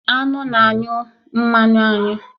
Aṅụ na-anyụ mmanụ aṅụ